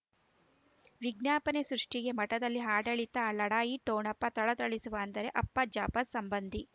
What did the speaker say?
ವಿಜ್ಞಾಪನೆ ಸೃಷ್ಟಿಗೆ ಮಠದಲ್ಲಿ ಆಡಳಿತ ಆ ಲಢಾಯಿ ಠೊಣಪ ಥಳಥಳಿಸುವ ಅಂದರೆ ಅಪ್ಪ ಜಾಫರ್ ಸಂಬಂಧಿ